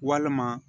Walima